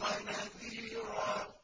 وَنَذِيرًا